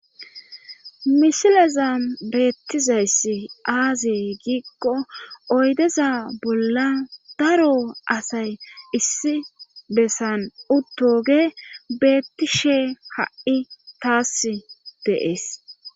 mishileza beettizayssi aazee giikko oydeza bolla daro asay issi bessan uttoge beettishe ha7i taas deees